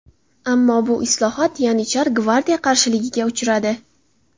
Ammo bu islohot yanicharlar – gvardiya qarshiligiga uchradi.